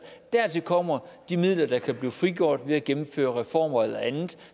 og dertil kommer de midler der kan blive frigjort ved at gennemføre reformer eller andet